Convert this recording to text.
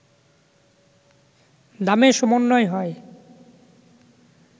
দামে সমন্বয় হয়